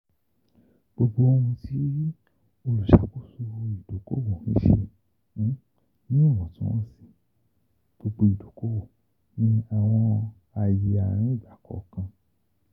Gbogbo ohun ti oluṣakoso idoko-owo n ṣe ni iwọntunwọnsi gbogbo idokowo ni awọn aaye arin igbakọọkan.